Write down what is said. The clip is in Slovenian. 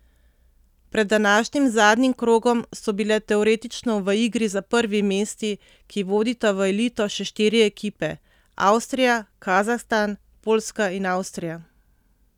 Pred današnjim zadnjim krogom so bile teoretično v igri za prvi mesti, ki vodita v elito, še štiri ekipe, Avstrija, Kazahstan, Poljska in Avstrija.